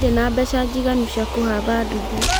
Ndirĩ na mbeca njiganu cia kũhamba nduthi